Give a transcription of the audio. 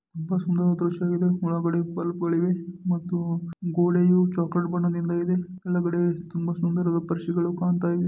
ತುಂಬಾ ಸುಂದರವಾದ ದೃಶ್ಯ ಇದು ಒಳಗಡೆ ಬಲ್ಬ್ಗ ಳಿವೆ ಮತ್ತು ಗೋಡೆಯು ಚಾಕ್ಲೆಟ್ ಬಣ್ಣದಿಂದ ಇದೆ ಒಳಗಡೆ ತುಂಬಾ ಸುಂದರದ ಪರಿಷಿಗಳು ಕಾಣ್ತಾ ಇದೆ.